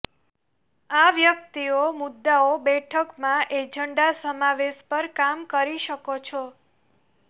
આ વ્યક્તિઓ મુદ્દાઓ બેઠકમાં એજન્ડા સમાવેશ પર કામ કરી શકો છો